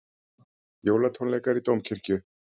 Jólatónleikar í Dómkirkju